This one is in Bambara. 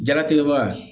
Jɛnatigɛ baga